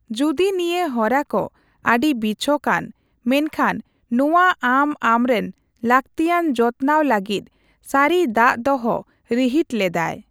ᱡᱩᱫᱤ ᱱᱤᱭᱟᱹ ᱦᱚᱨᱟᱠᱚ ᱟᱹᱰᱤ ᱵᱤᱪᱷᱚᱠᱭᱟᱱ, ᱢᱮᱱᱠᱷᱟᱱ ᱱᱚᱣᱟ ᱟᱢ ᱟᱢᱨᱮᱱ ᱞᱟᱹᱠᱛᱤᱭᱟᱱ ᱡᱚᱛᱱᱟᱣ ᱞᱟᱹᱜᱤᱫ ᱥᱟᱹᱨᱤ ᱫᱟᱜᱽ ᱫᱚᱦᱚ ᱨᱤᱦᱤᱴ ᱞᱮᱫᱟᱭ᱾